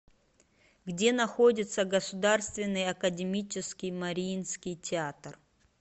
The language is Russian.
где находится государственный академический мариинский театр